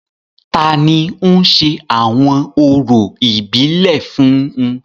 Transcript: Tani ń ṣe awọn orȯ ibile fun u?